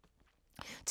TV 2